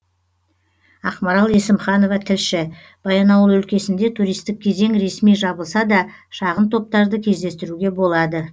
ақмарал есімханова тілші баянауыл өлкесінде туристік кезең ресми жабылса да шағын топтарды кездестіруге болады